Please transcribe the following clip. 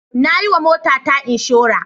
Na yiwa motata inshora.